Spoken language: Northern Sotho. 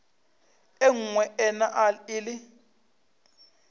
e nngwe e na le